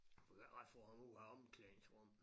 Du kan ikke engang få ham ud af omklædningsrummet